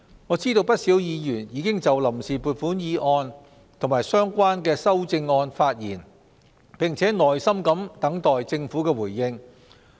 我知道不少議員已經就臨時撥款議案及相關修訂議案發言，並耐心等待政府回應。